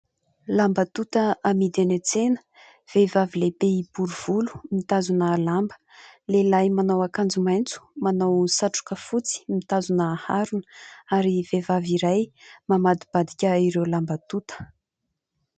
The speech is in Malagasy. Lamba tonta amidy eny an-tsena. Vehivavy lehibe bory volo mitazona lamba. Lehilahy manao akanjo maitso, manao satroka fotsy mitazona harona ary vehivavy iray mamadibadika ireo lamba tonta.